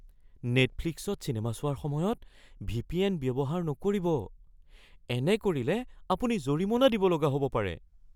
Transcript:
নেটফ্লিক্সত cinema চোৱাৰ সময়ত VPN. ব্যৱহাৰ নকৰিব। এনে কৰিলে আপুনি জৰিমনা দিব লগা হ'ব পাৰে।